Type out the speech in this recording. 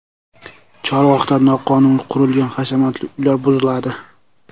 Chorvoqda noqonuniy qurilgan hashamatli uylar buziladi.